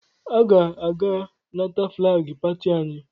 Aga m aga nata flaagị pati anyị.